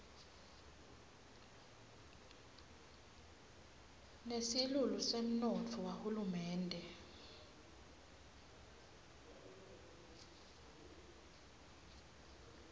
nesilulu semnotfo wahulumende